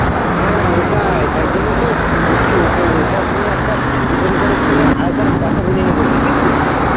হ্যাঁ রে ওটাই তাই জন্য তো বলছি ওটো ওটার সঙ্গে একটা দীপঙ্করের সঙ্গে আরেকবার কথা বলে লিব বুঝলি তু?